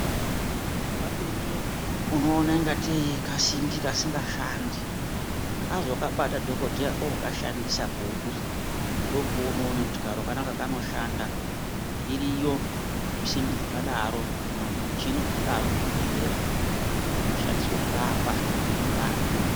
Kamweni unoona ungatei kasimbi kasingashandi azokabata dhokodheya ookashandisa pouri ndopaunoona kuti karo kanaka kanoshanda, iriyo simbi dzakadaro kana husimbi hwakadaro muzvibhedhlera hunoshandiswa kurapa anthu.